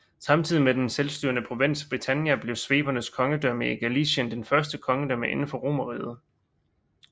Samtidig med den selvstyrende provins Britannia blev svebernes kongedømme i Gallæcien det første kongedømme inden for Romerriget